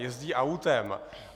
Jezdí autem.